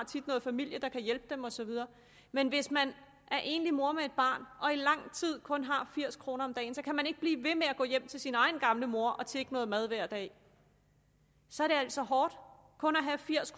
tit noget familie der kan hjælpe dem og så videre men hvis man er enlig mor med et barn og i lang tid kun har firs kroner om dagen så kan man ikke blive ved med at gå hjem til sin egen gamle mor og tigge noget mad hver dag så er det altså hårdt kun at have firs